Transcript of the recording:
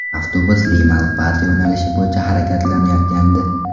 Avtobus Lima Lpata yo‘nalishi bo‘yicha harakatlanayotgandi.